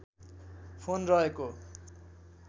phone रहेको